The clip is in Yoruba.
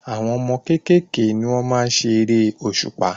Àwọn ọmọ kékèké ni wọ́n maá n ṣe eré òṣùpá